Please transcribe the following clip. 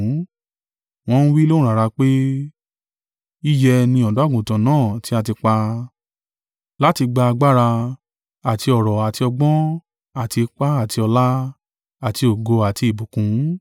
Wọn ń wí lóhùn rara pé: “Yíyẹ ni Ọ̀dọ́-àgùntàn náà tí a tí pa, láti gba agbára, àti ọ̀rọ̀ àti ọgbọ́n, àti ipá, àti ọlá, àti ògo, àti ìbùkún.”